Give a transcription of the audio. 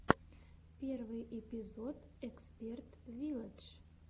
первый эпизод эксперт вилладж